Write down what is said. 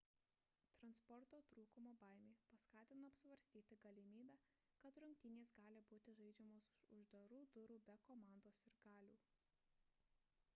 transporto trūkumo baimė paskatino apsvarstyti galimybę kad rungtynės gali būti žaidžiamos už uždarų durų be komandos sirgalių